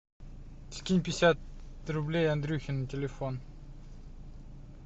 скинь пятьдесят рублей андрюхе на телефон